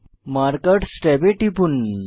markers ট্যাবে টিপুন